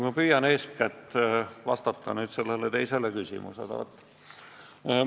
Ma püüan eeskätt vastata sellele teisele küsimusele.